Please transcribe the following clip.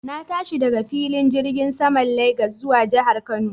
Na tashi daga filin jirgin saman Legas zuwa jihar Kano